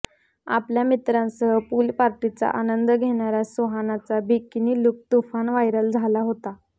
आपल्या मित्रांसह पूल पार्टीचा आनंद घेणाऱ्या सुहानाचा बिकिनी लुक तुफान व्हायरल झाला होता